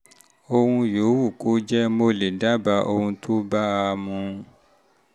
ohun yòówù kó um jẹ́ um mo lè dábàá ohun tó bá a mu